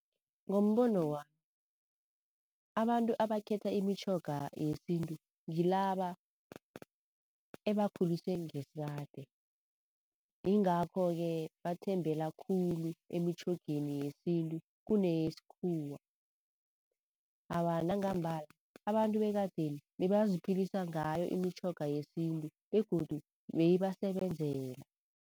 Ngombono wami, abantu abakhetha imitjhoga yesintu ngilaba ebakhuliswe ngesikade. Ingakho-ke bathembela khulu emitjhogeni yesintu kuneyesikhuwa. Awa nangambala abantu bekadeni bebaziphilisa ngayo imitjhoga yesintu begodu beyibasebenzela.